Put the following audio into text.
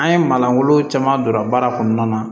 An ye manangolo caman donna baara kɔnɔna na